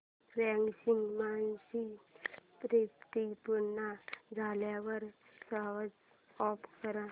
washing machine spin पूर्ण झाल्यावर switch off कर